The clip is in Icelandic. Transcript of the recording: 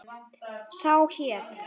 Sá hét